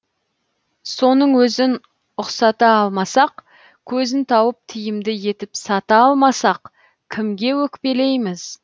соның өзін ұқсата алмасақ көзін тауып тиімді етіп сата алмасақ кімге өкпелейміз